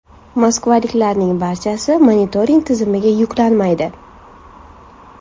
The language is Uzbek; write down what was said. Moskvaliklarning barchasi monitoring tizimiga yuklanmaydi.